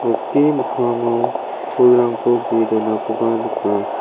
nokni mikkango pulrangko ge·e donakoba nika.